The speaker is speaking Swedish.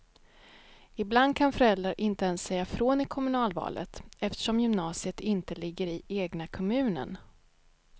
Ibland kan föräldrar inte ens säga ifrån i kommunalvalet, eftersom gymnasiet inte ligger i egna kommunen.